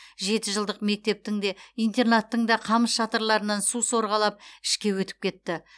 жеті жылдық мектептің де интернаттың да қамыс шатырларынан су сорғалап ішке өтіп кетті